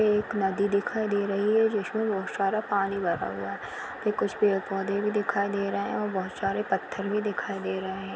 एक नदी दिखाई दे रही है जिसमे बहोत सारा पानी भरा हुआ है कुछ पेड़-पौधे भी दिखाई दे रहे है और बहोत सारे पत्थर भी दिखाई दे रहे है।